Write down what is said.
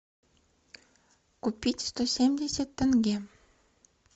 купить сто семьдесят тенге